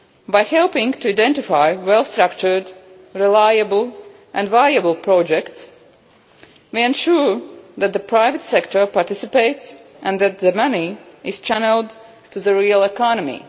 By helping to identify well structured, reliable and viable projects, we ensure that the private sector participates and that the money is channelled to the real economy.